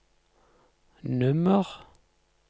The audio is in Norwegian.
nummer